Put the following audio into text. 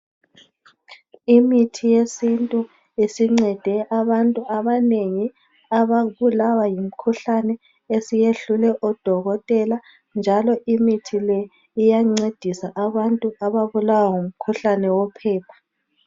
Imithi yesintu esincede abantu abanengi ababulawa yimikhuhlane esiyehlule odokotela, njalo imithi le iyancedisa abantu ababulawa yimikhuhlane yophepha